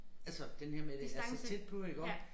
Altså denne her med at være så tæt på iggå